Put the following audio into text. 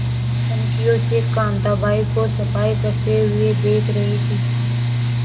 कनखियों से कांताबाई को सफाई करते हुए देख रही थी